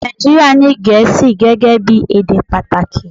Nàìjíríà ní Gẹ̀ẹ́sì gẹ́gẹ́ bí èdè pàtàkì